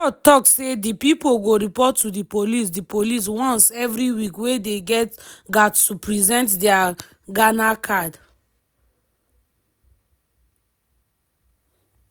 di court tok say di pipo go report to di police di police once every week wia dey gat to present dia ghana card.